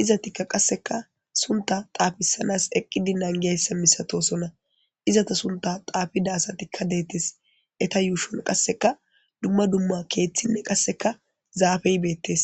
izetikka qasseka suntta xaafisanas eqqidi nangiyayssa masatoosona izeta sunta xaafida asatikka detees eeta yuushon qasseka dumma dumma keethinne qassika zaafey beettees.